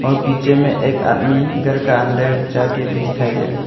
और पीछे में एक आदमी घर का अंदर जा के भी दिखाई दे रहा है।